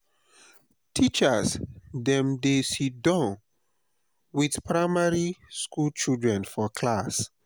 teachers dem dey siddon with primary skool children for class.